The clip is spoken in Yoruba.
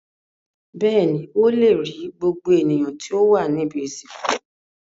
Bẹ́ẹ̀ni, ó le rí gbogbo ènìyàn tí ó wà ní ibi-ìsìnkú.